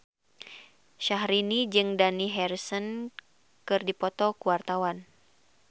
Syahrini jeung Dani Harrison keur dipoto ku wartawan